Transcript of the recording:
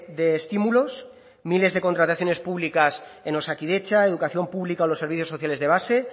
de estímulos miles de contrataciones públicas en osakidetza educación pública o los servicios sociales de base